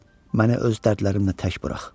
Məni öz dərdlərimlə tək burax.